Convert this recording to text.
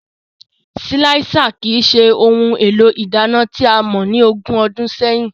Silạisa kii ṣe ohun élo ìdana tià mọ ni ógùn ọdùn sẹyin.